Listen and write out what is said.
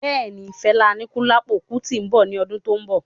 Bẹẹni, Fela Anikulapo Kuti nbọ ní ọdún tó n bọ